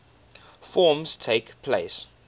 forms takes place